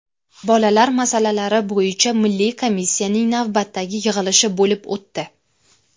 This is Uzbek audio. Bolalar masalalari bo‘yicha milliy komissiyasining navbatdagi yig‘ilishi bo‘lib o‘tdi.